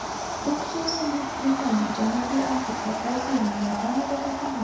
U, xususan, Buyuk Britaniya, Janubiy Afrika, Braziliya, Yaponiyada topilgan.